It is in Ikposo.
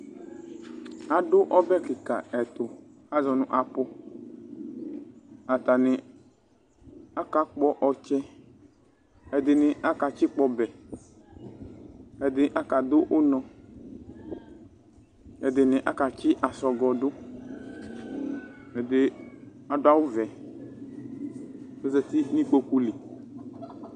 Adʋ ɔbɛ kɩka ɛtʋ ,azɔ nʋ apʋAtanɩ akakpɔ ɔtsɛ, ɛdɩnɩ akatsɩkpɔ ɔbɛ, ɛdɩnɩ aka dʋ ʋnɔ, ɛdɩnɩ akatsɩ asɔgɔ dʋ,ɛdɩ adʋ awʋ vɛ azati n' ikpoku li